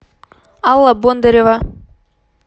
алла бондарева